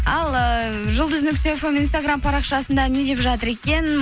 ал ыыы жұлдыз нүкте фм инстаграм парақшасында не деп жатыр екен